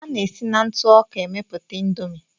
A na-esi na ntụ ọka emeputa Indomie.